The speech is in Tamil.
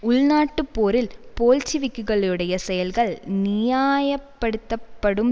உள்நாட்டுப் போரில் போல்ஷிவிக்குகளுடைய செயல்கள் நியாயப்படுத்தப்படும்